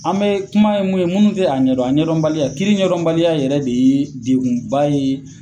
An be kuma ye mun ye munnu tɛ a ɲɛ dɔn a ɲɛ dɔn kiiri ɲɛ dɔn baliya yɛrɛ de ye degunba ye